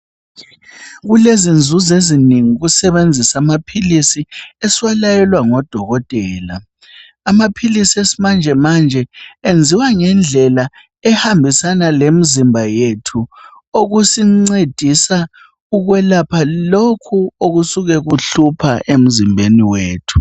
Kulezinzuzo ezinengi ukusebenzisa amaphilisi esiwalayelwa ngodokotela. Amaphilisi esimanjemanje enziwa ngendlela ehambisana lemizimba yethu, okusincedisa ukwelapha lokhu okusuke kuhlupha emzimbeni wethu.